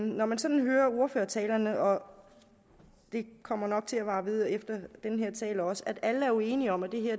når man sådan hører ordførertalerne og det kommer nok til at vare ved efter den her tale også at alle jo er enige om at